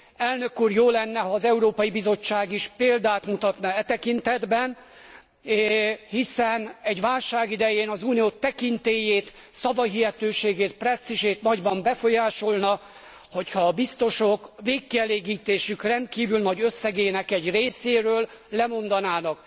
Elnök úr, jó lenne, ha az Európai Bizottság is példát mutatna e tekintetben, hiszen egy válság idején az Unió tekintélyét, szavahihetőségét, presztízsét nagyban befolyásolná, hogy ha a biztosok végkielégítésük rendkívül nagy összegének egy részéről lemondanának.